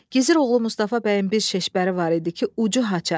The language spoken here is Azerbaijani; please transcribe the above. Gizir oğlu Mustafa bəyin bir şişbəri var idi ki, ucu haça.